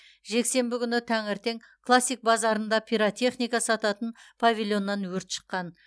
жексенбі күні таңертең классик базарында пиратехника сататын павильоннан өрт шыққан